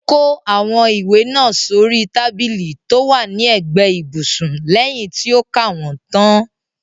Ó kó àwọn ìwé náà sóri tábìlì tó wà ní ẹ̀gbẹ́ ibùsùn lẹyìn tí ó ka wọ́n tán.